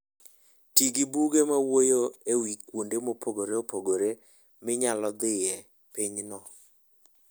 Ti gi buge mawuoyo e wi kuonde mopogore opogore minyalo dhiye e pinyno.